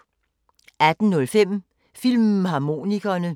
18:05: Filmharmonikerne